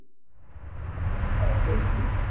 Valdimar hnyklaði brýnnar.